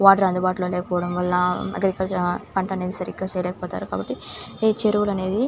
water అందుబాటులో లేకపోవడం వల్ల అక్కడ ప్రజలు పంట అనేది సరిగ్గా అది చేయలేక పోతారు కాబట్టి ఈ చెరువులు అనేవి --